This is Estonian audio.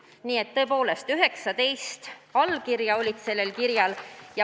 Nii et tõepoolest 19 allkirja oli sellel kirjal.